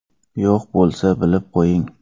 Yo‘q bo‘lsa, bilib qo‘ying.